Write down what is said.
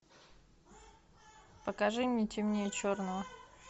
покажи мне темнее черного